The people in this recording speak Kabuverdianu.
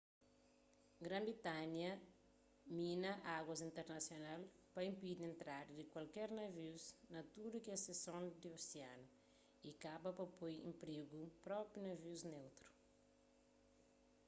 gran-britanha mina aguas internasional pa inpidi entrada di kualker navius na tudu kes sekson di osianu y kaba pa poi en prigu propi navius neutru